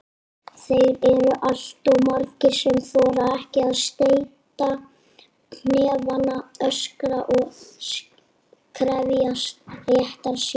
Þeir eru alltof margir sem þora ekki að steyta hnefana, öskra og krefjast réttar síns.